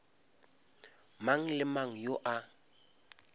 mang le mang yo a